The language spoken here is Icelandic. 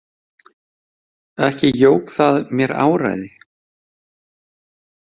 Ekki jók það mér áræði.